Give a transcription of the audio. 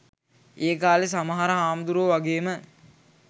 ඒකාලෙ සමහර හාමුදුරුවො වගේම